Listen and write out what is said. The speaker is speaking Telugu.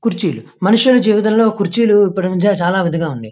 కుర్చీలు మనుషులు జీవితం లో కుర్చీలు ఉపయోగించడం చాలా విదంగా ఉండేది.